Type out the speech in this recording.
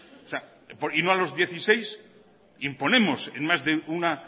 y no a los dieciséis imponemos en más de una